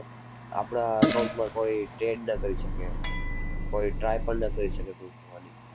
આપણાં account માં કોઈ trade ના કરી શકે. કોઈ try પણ ના કરી શકે ઘૂસવાની.